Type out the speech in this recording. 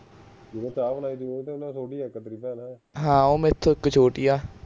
ਹਾਂ ਉਹ ਇਕ ਮੈਥੋਂ ਛੋਟੀ ਏ